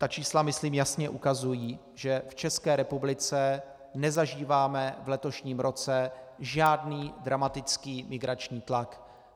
Ta čísla myslím jasně ukazují, že v České republice nezažíváme v letošním roce žádný dramatický migrační tlak.